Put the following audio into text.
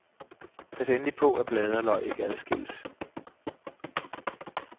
Pas endelig på, at blade og løg ikke adskillles.